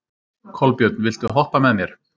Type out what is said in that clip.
Kolbjörn, viltu hoppa með mér?